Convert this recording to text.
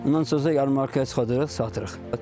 Ondan sonra ya markaya çıxardırıq, satırıq.